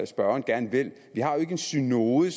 spørgeren gerne vil en synode i